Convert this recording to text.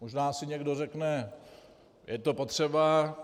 Možná si někdo řekne: Je to potřeba?